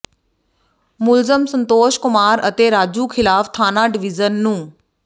ਮੁਲਜ਼ਮ ਸੰਤੋਸ਼ ਕੁਮਾਰ ਅਤੇ ਰਾਜੂ ਖਿਲਾਫ਼ ਥਾਣਾ ਡਿਵੀਜ਼ਨ ਨੰ